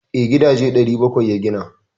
Eh, gidaje 700 ya gina.